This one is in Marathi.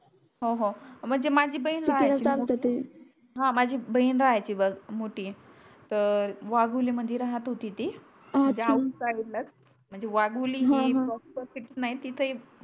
हो हो माझी बहीण किती ला सांगते ते हा माझी बहीण राहयाची बग मोठी तर वाघोली मध्ये राहत होती म्हणजे डॅम साईडला म्हणजे वाघोली ही प्रॉपर सिटि नाही तिथे